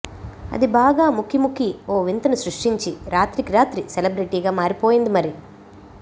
అది బాగా ముక్కిముక్కి ఓ వింతను సృష్టించి రాత్రికి రాత్రి సెలబ్రిటీగా మారిపోయింది మరి